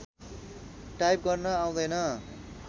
type गर्न आउँदैन